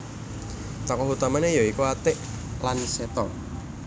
Tokoh utamane ya iku Atik lan Seto